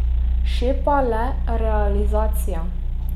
Šepa le realizacija.